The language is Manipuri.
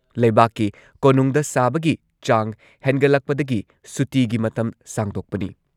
ꯂꯩꯕꯥꯛꯀꯤ ꯀꯣꯅꯨꯡꯗ ꯁꯥꯕꯒꯤ ꯆꯥꯡ ꯍꯦꯟꯒꯠꯂꯛꯄꯗꯒꯤ ꯁꯨꯇꯤꯒꯤ ꯃꯇꯝ ꯁꯥꯡꯗꯣꯛꯄꯅꯤ ꯫